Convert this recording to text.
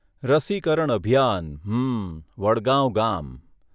રસીકરણ અભિયાન, હમમમ, વડગાંવ ગામ.